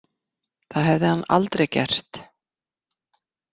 Það hefði hann aldrei gert.